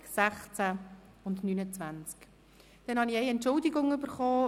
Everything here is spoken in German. Es ist mir eine Entschuldigung zugegangen.